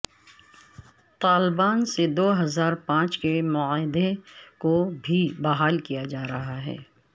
طالبان سے دو ہزار پانچ کے معاہدے کو بھی بحال کیا جا رہا ہے